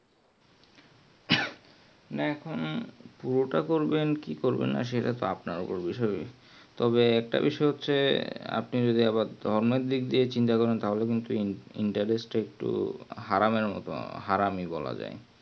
না এখন পুরাটা করবেন কি করবেন না সেটা ভিত আপনার ওপর বিষয় তবে একটা বিষয় হচ্ছে আপনি যদি ধর্ম দিক দিয়ে চিন্তা করেন তাহলে Intrest একটু হারাম হারাম এই বলা যাই